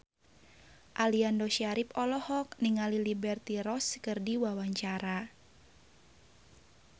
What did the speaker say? Aliando Syarif olohok ningali Liberty Ross keur diwawancara